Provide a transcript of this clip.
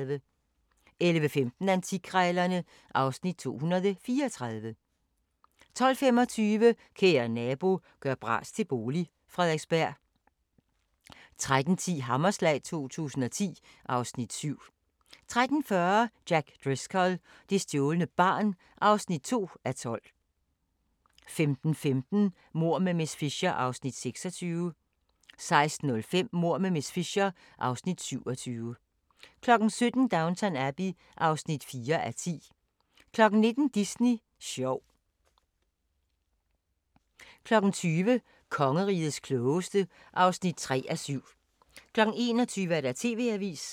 11:15: Antikkrejlerne (Afs. 234) 12:25: Kære nabo – gør bras til bolig – Frederiksberg 13:10: Hammerslag 2010 (Afs. 7) 13:40: Jack Driscoll – det stjålne barn (2:12) 15:15: Mord med miss Fisher (Afs. 26) 16:05: Mord med miss Fisher (Afs. 27) 17:00: Downton Abbey (4:10) 19:00: Disney sjov 20:00: Kongerigets klogeste (3:7) 21:00: TV-avisen